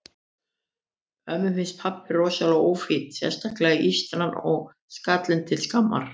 Ömmu finnst pabbi rosalega ófínn, sérstaklega ístran og skallinn til skammar.